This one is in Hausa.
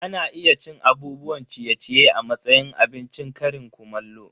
Ana iya cin abubuwan ciye-ciye a matsayin abincin ƙarin kumallo.